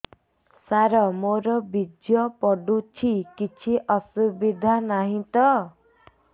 ସାର ମୋର ବୀର୍ଯ୍ୟ ପଡୁଛି କିଛି ଅସୁବିଧା ନାହିଁ ତ